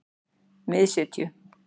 Miðsitju